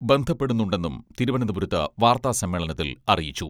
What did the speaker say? ബന്ധപ്പെടുന്നുണ്ടെന്നും തിരുവനന്തപുരത്ത് വാർത്താ സമ്മേളനത്തിൽ അറിയിച്ചു.